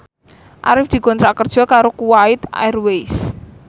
Arif dikontrak kerja karo Kuwait Airways